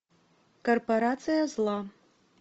корпорация зла